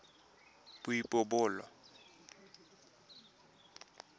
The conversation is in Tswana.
boipobolo